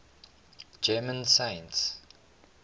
german saints